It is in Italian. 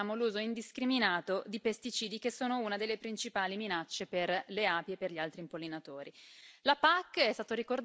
per proteggerle e permettiamo l'uso indiscriminato di pesticidi, che sono una delle principali minacce per le api e per gli altri impollinatori.